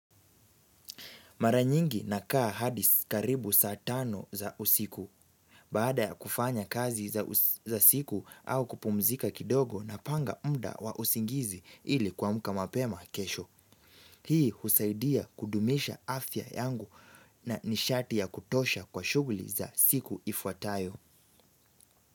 Maranyingi nakaa hadi karibu saa tano za usiku. Baada ya kufanya kazi za siku au kupumzika kidogo napanga muda wa usingizi ili kuamka mapema kesho. Hii husaidia kudumisha afya yangu na nishati ya kutosha kwa shuguli za siku ifuatayo.